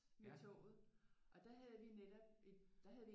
Med toget og der havde vi netop der havde vi